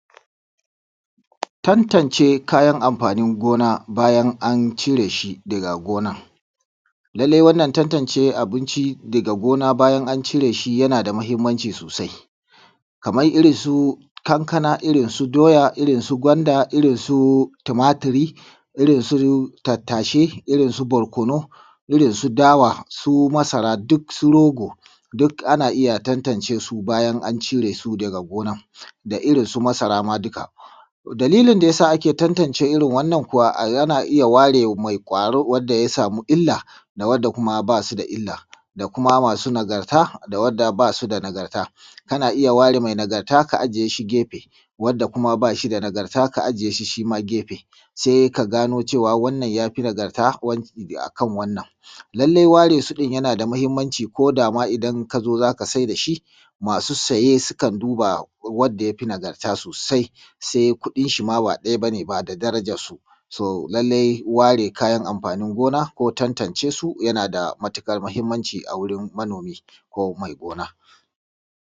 Tantance kayan anfanin gona bayan an cire shi a gonan. Lallai wannan tantance abinci daga gona bayan an cire shi yana da muhimmanci sosai, kamar irinsu kankana, irinsu doya, irinsu gwanda, irinsu tumaturi, irinsu tattashe, irinsu barkono, irinsu dawa, su masara duk su roga duk ana iya tantance su bayan an cire su daga gaban, da irinsu masara ma duka. Dalilin da ya sa ake tantance irin wannan kuwa yana iya ware mai kwari wanda ya sama illa, da wadda kuma ba su da illa, da kuma masu nagarta da wadda ba su da nagarta, kana iya ware mai nagarta ka ajiye a gefe wadda ba shi da nagarta shi ma ka ajiye shi gefe sai ka gano cewa wannan ya fi nagarta akan wannan. Lallai ware su ɗin yana da mahimmanci ko da ma idan kazo zaka saida shi ,masu saye sukan duba wadda ya fi nagarta sosai, sai kuɗin shi ma ba ɗaya ne ba da darajansu. Lallai ware kayan anfanin gona ko tantance su yana da matuƙar muhimmanci a wurin manomi ko mai gona.